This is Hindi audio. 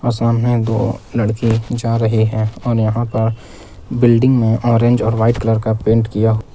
सामने दो लड़के जा रहे हैं और यहां का बिल्डिंग में ऑरेंज और वाइट कलर का पेंट किया--